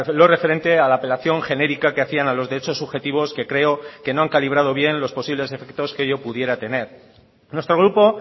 lo referente a la apelación genérica que hacían a los derechos subjetivos que creo que no han calibrado bien los posibles efectos que ello pudiera tener nuestro grupo